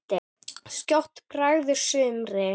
Skjótt bregður sumri.